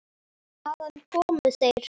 Hvaðan komu þeir?